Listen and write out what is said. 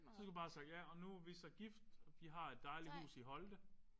Så skulle du bare have sagt ja og nu er vi så gift. Vi har et dejligt hus i Holte